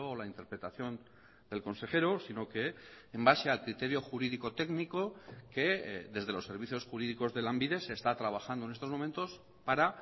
la interpretación del consejero sino que en base al criterio jurídico técnico que desde los servicios jurídicos de lanbide se está trabajando en estos momentos para